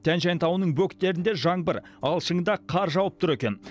тянь шань тауының бөктерінде жаңбыр ал шыңында қар жауып тұр екен